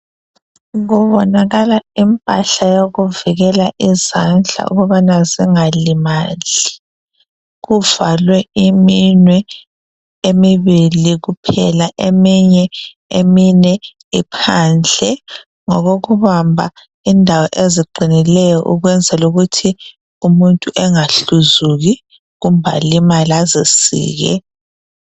Kubonakala impahla yokuvikela izandla ukubana zingalimali kuvalwe iminwe emibili kuphela eminye iminwe iphandle ngokokubamba indawo eziqinileyo ukwenzela ukuthi umuntu engahluzuki kumbe alimale azisike